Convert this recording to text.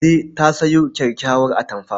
Kande ta sayo kyakkyawar atamfa.